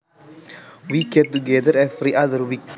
We get together every other week